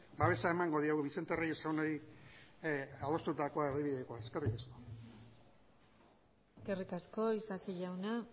babesa emango diogu vicente reyes jaunari adostutako erdibidekoa eskerrik asko eskerrik asko isasi jauna